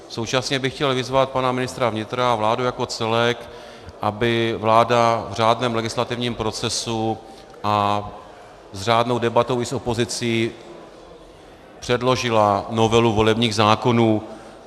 Současně bych chtěl vyzvat pana ministra vnitra a vládu jako celek, aby vláda v řádném legislativním procesu a s řádnou debatou i s opozicí předložila novelu volebních zákonů.